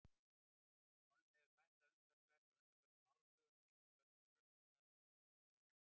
Honum hefur fækkað umtalsvert á undanförnum áratugum, einkum vegna röskunar á búsvæðum hans.